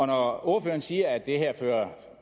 når ordføreren siger at det her